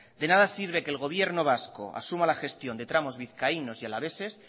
de nada sirve que el gobierno vasco asuma la gestión de tramos vizcaínos y alaveses